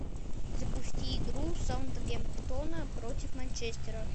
запусти игру саутгемптона против манчестера